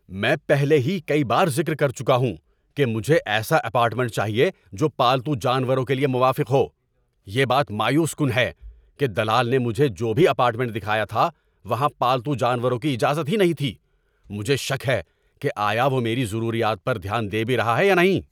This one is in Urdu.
میں پہلے ہی کئی بار ذکر کر چکا ہوں کہ مجھے ایسا اپارٹمنٹ چاہیے جو پالتو جانوروں کے لیے موافق ہو۔ یہ بات مایوس کن ہے کہ دلال نے مجھے جو بھی اپارٹمنٹ دکھایا تھا وہاں پالتو جانوروں کی اجازت ہی نہیں تھی۔ مجھے شک ہے کہ آیا وہ میری ضروریات پر دھیان دے بھی رہا ہے یا نہیں۔